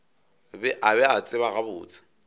a be a tseba gabotse